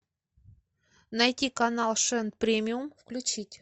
найти канал шен премиум включить